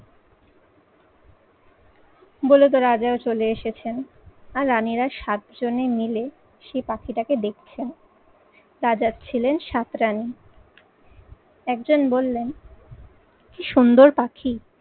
বলে তো রাজারা চলে এসেছেন আর রানীরা সাতজনে মিলে সেই পাখিটাকে দেখছেন। রাজা ছিলেন সাতরানী একজন বললেন, কি সুন্দর পাখি।